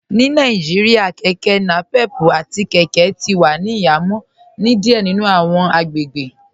Ní Nàìjíríà kẹkẹ napep àti kẹkẹ ti wà ní ìhàmọ̀ ni díẹ̀ nínu awọn agbègbè